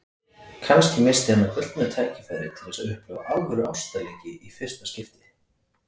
Kannski missti hann af gullnu tækifæri til þess að upplifa alvöru ástarleiki í fyrsta skipti.